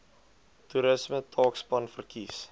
toerisme taakspan verkies